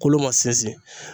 Kolo ma sinsin